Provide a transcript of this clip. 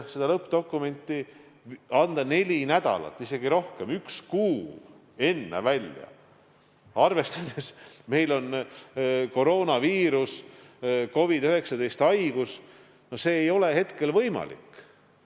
Seda lõppdokumenti anda välja neli nädalat või isegi rohkem, üks kuu enne, arvestades, et meil on koroonaviirus, COVID-19 haigus – no see ei ole hetkel võimalik.